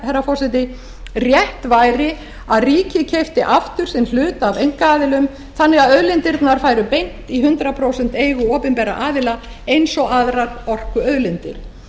herra forseti rétt væri að ríkið keypti aftur sinn hlut af einkaaðilum þannig að auðlindirnar færu beint í hundrað prósent eigu opinberra aðila eins og aðrar orkuauðlindir